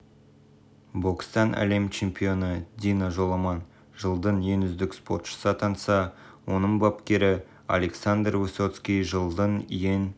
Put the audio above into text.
бокстан әлем чемпионы дина жоламан жылдың ең үздік спортшысы атанса оның бапкері александр высоцкий жылдың ең